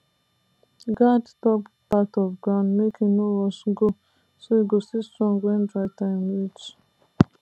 guard top part of ground make e no wash go so e go still strong when dry time reach